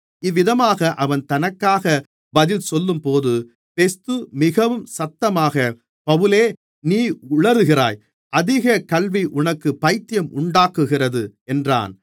இவ்விதமாக அவன் தனக்காக பதில்சொல்லும்போது பெஸ்து மிகவும் சத்தமாக பவுலே நீ உலறுகிறாய் அதிகக் கல்வி உனக்குப் பயித்தியமுண்டாக்குகிறது என்றான்